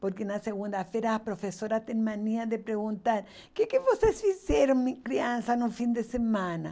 Porque na segunda-feira a professora tem mania de perguntar, que que vocês fizeram, me crianças, no fim de semana?